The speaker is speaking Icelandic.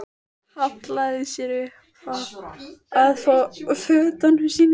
Hallaði sér upp að fötunum sínum.